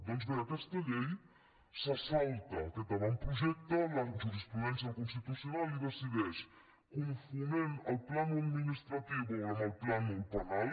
doncs bé aquesta llei se salta aquest avantprojecte la jurisprudència del constitucional i decideix confonent el pla administratiu amb el pla penal